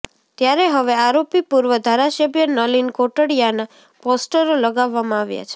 ત્યારે હવે આરોપી પૂર્વ ધારાસભ્ય નલીન કોટડિયાના પોસ્ટરો લગાવવામાં આવ્યા છે